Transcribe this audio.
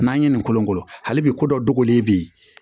N'an ye nin kolokolo hali bi ko dɔ dogolen bɛ yen